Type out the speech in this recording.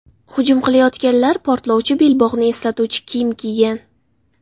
Hujum qilayotganlar portlovchi belbog‘ni eslatuvchi kiyim kiygan.